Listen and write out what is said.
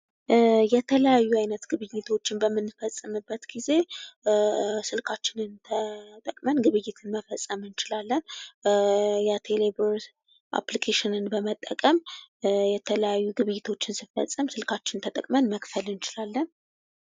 የተለያዩ አይነት ግብይቶችን በምንፈጽምበት ጊዜ ስልካችንን ተጠቅመን ግብይት መፈፀም እንችላለን የቴሌብር አፕሊኬሽን በመጠቀም የተለያዩ ግብይቶችን ስንፈጽም ስልካችንን ተጠቅመን መክፈል እንችላለን።